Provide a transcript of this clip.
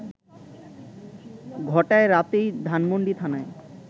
ঘটায় রাতেই ধানমণ্ডি থানায়